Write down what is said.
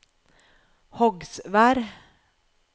Hogsvær